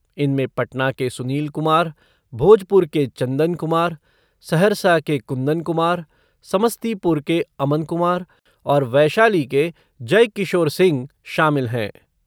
इनमें पटना के सुनील कुमार, भोजपुर के चंदन कुमार, सहरसा के कुंदन कुमार, समस्तीपुर के अमन कुमार और वैशाली के जयकिशोर सिंह शामिल हैं।